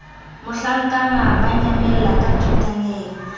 mohlankana ba nyamella ka thotaneng